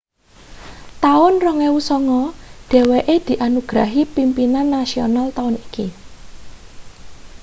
taun 2009 dheweke dianugrahi pimpinan nasional taun iki